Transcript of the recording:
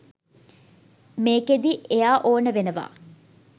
මේකෙදි එයා ඕන වෙනවා